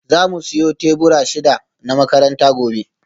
Za mu siyo tebura shida na makaranta gobe